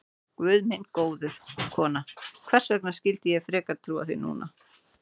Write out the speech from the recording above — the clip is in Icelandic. Guð minn góður, kona, hvers vegna skyldi ég frekar trúa þér núna?